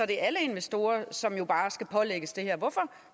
det er alle investorer som skal pålægges det her hvorfor